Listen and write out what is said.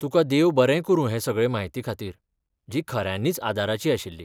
तुका देव बरें करूं हे सगळे म्हायतीखातीर, जी खऱ्यानींच आदाराची आशिल्ली.